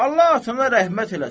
Allah sənə rəhmət eləsin.